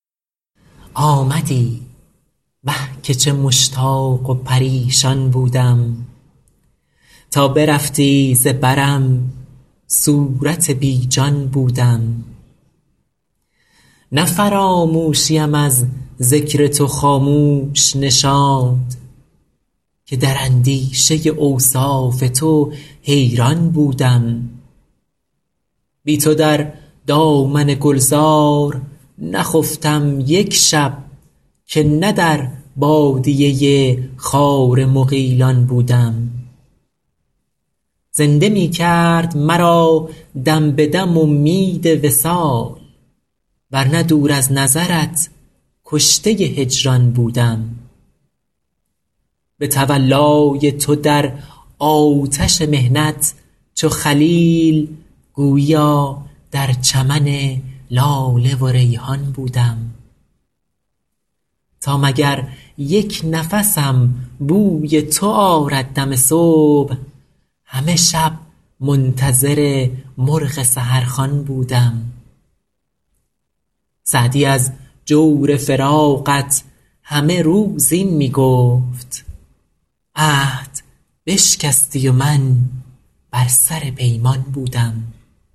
آمدی وه که چه مشتاق و پریشان بودم تا برفتی ز برم صورت بی جان بودم نه فراموشیم از ذکر تو خاموش نشاند که در اندیشه اوصاف تو حیران بودم بی تو در دامن گلزار نخفتم یک شب که نه در بادیه خار مغیلان بودم زنده می کرد مرا دم به دم امید وصال ور نه دور از نظرت کشته هجران بودم به تولای تو در آتش محنت چو خلیل گوییا در چمن لاله و ریحان بودم تا مگر یک نفسم بوی تو آرد دم صبح همه شب منتظر مرغ سحرخوان بودم سعدی از جور فراقت همه روز این می گفت عهد بشکستی و من بر سر پیمان بودم